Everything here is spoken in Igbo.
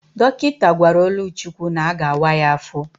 Dọkịta gwara Oluchukwu na-aga awa ya afọ.